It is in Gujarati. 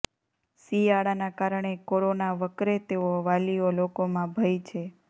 શિયાળાના કારણે કોરોના વકરે તેવો વાલીઓ લોકોમાં ભય છે